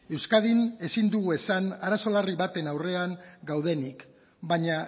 euskadin ezin dugu esan arazo larri baten aurrean gaudenik baina